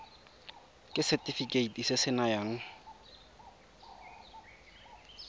ke setefikeiti se se nayang